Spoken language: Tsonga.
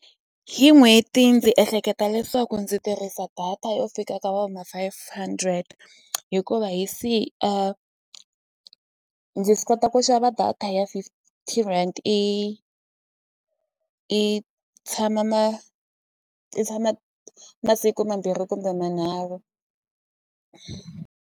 Hi n'hweti ndzi ehleketa leswaku ndzi tirhisa data yo fika ka va ma-five hundred hikuva hi ndzi kota ku xava data a ya fifty rand i i tshama i tshama masiku mambirhi kumbe manharhu.